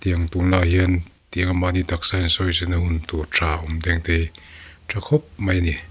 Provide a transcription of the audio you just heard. tiang tunlaiah hian tianga mahni taksa insawizawina hun tur tha a awm teng te hi ṭha khawp mai a ni.